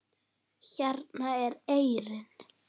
Hérna er eyrin.